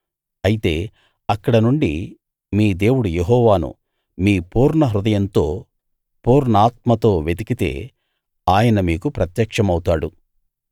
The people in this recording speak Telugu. అయితే అక్కడ నుండి మీ దేవుడు యెహోవాను మీ పూర్ణహృదయంతో పూర్ణాత్మతో వెతికితే ఆయన మీకు ప్రత్యక్షమౌతాడు